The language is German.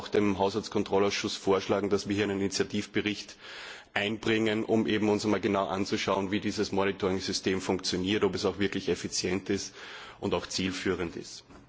Ich werde dem Haushaltskontrollausschuss vorschlagen, dass wir einen Initiativbericht einbringen, um uns genau anzuschauen, wie dieses Monitoringsystem funktioniert, ob es auch wirklich effizient und auch zielführend ist.